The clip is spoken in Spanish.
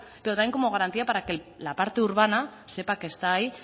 pero también como garantía para que la parte urbana sepa que está ahí